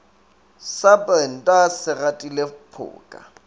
sa brenda se gatile phoka